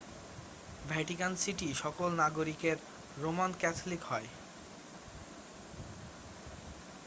Vatican city সকল নাগরিকের Roman Catholic হয়